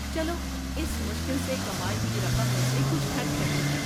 چلو اس مشکل سے کمائی ہوئی رقم میں سے کچھ خرچ کرتے ہیں۔